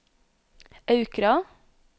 Aukra